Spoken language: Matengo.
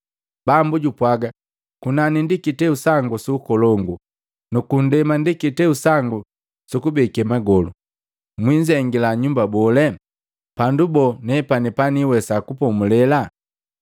Bambo jupwaga, ‘Kunani ndi kiteu sangu su Ukolongu nuku ndema ndi kiteu sangu sukubeke magolu. Mwinzengila nyumba bole? Pandu boo nepani paniiwesaa kupomulela?